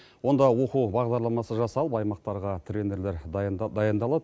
онда оқу бағдарламасы жасалып аймақтарға тренерлер дайындалады